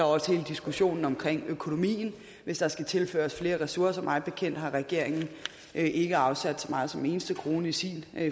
også hele diskussionen om økonomien hvis der skal tilføres flere ressourcer mig bekendt har regeringen ikke afsat så meget som en eneste krone i sin